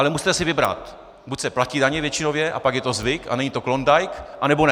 Ale musíte si vybrat - buď se platí daně většinově, a pak je to zvyk a není to klondajk, anebo ne.